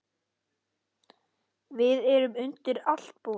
Við erum undir allt búin.